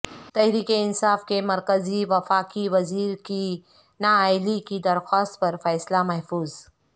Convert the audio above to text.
تحریک انصاف کے مرکزی وفاقی وزیر کی نااہلی کی درخواست پر فیصلہ محفوظ